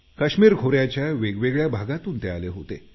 काश्मीर खोऱ्याच्या वेगवेगळ्या भागातून ते आले होते